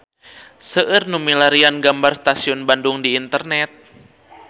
Seueur nu milarian gambar Stasiun Bandung di internet